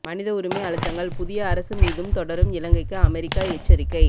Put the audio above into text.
மனித உரிமை அழுத்தங்கள் புதிய அரசு மீதும் தொடரும் இலங்கைக்கு அமெரிக்கா எச்சரிக்கை